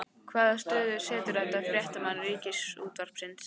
Hvaða stöðu setur þetta fréttamenn Ríkisútvarpsins í?